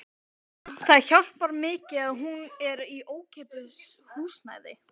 Hinn mesti drumbur eftir lýsingum að dæma.